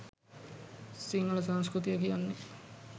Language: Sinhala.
සිංහල සංස්කෘතිය කියන්නේ